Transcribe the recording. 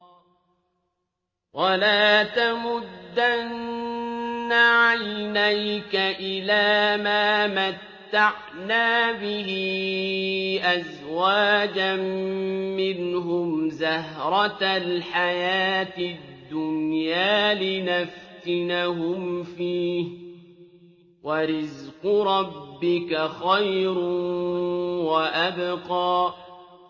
وَلَا تَمُدَّنَّ عَيْنَيْكَ إِلَىٰ مَا مَتَّعْنَا بِهِ أَزْوَاجًا مِّنْهُمْ زَهْرَةَ الْحَيَاةِ الدُّنْيَا لِنَفْتِنَهُمْ فِيهِ ۚ وَرِزْقُ رَبِّكَ خَيْرٌ وَأَبْقَىٰ